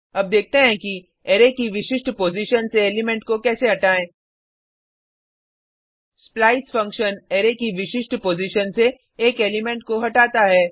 अब देखते हैं कि अरै की विशिष्ट पॉजिशन से एलिमेंट को कैसे हटाएँ स्प्लाइस फंक्शन अरै की विशिष्ट पॉजिशन से एक एलिमेंट को हटाता है